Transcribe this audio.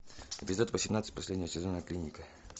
эпизод восемнадцать последнего сезона клиника